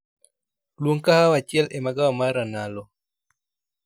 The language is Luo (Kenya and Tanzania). Luong kahawa achiel e magawa mar ranalo